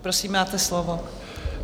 Prosím, máte slovo.